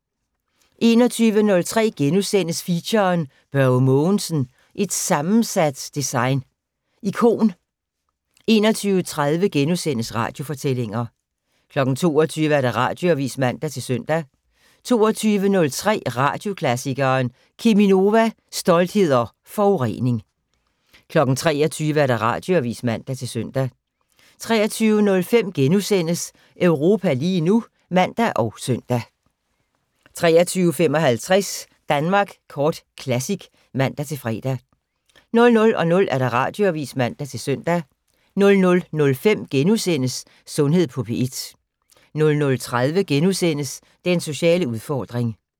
21:03: Feature: Børge Mogensen - et sammensat design ikon * 21:30: Radiofortællinger * 22:00: Radioavis (man-søn) 22:03: Radioklassikeren: Cheminova - stolthed og forurening 23:00: Radioavis (man-søn) 23:05: Europa lige nu *(man og søn) 23:55: Danmark Kort Classic (man-fre) 00:00: Radioavis (man-søn) 00:05: Sundhed på P1 * 00:30: Den sociale udfordring *